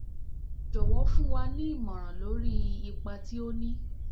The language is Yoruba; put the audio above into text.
jọ̀wọ́ fún wa ní ìmọ̀ràn lórí ipa tí ó ní